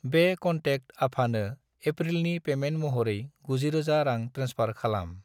बे कनटेक्ट आफानो एप्रिलनि पेमेन्ट महरै 90000 रां ट्रेन्सफार खालाम।